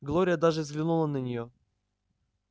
глория даже взглянула на нее